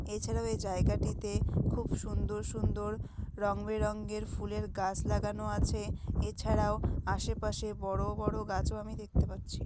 এছাড়াও এই জায়গাটিতে খুব সুন্দর সুন্দর রং বেরঙের ফুলের গাছ লাগানো আছে এছাড়াও আশেপাশে বড় বড় গাছও আমি দেখতে পাচ্ছি।